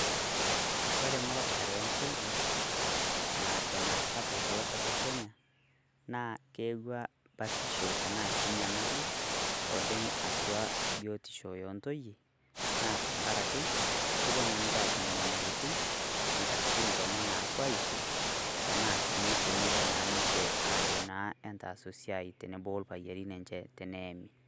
Kore muratare o ontoyei neton aasapuk tolosho le Kenya, naa keyewaa batisho tana sii nyamali oleng atua biotisho ontoyei naa tang'araki kopoo naa ninchee atum nyamalitin nkatitin kenya naapoo aishoo tana sii nepoo naa ninchee ajo naa etaas esiai teneboo o lpaayerin lenchee teneemi.